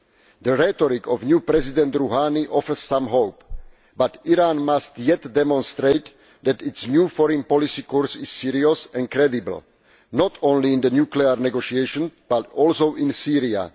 The rhetoric of new President Rouhani offers some hope, but Iran must yet demonstrate that its new foreign policy course is serious and credible, not only in the nuclear negotiation but also in Syria.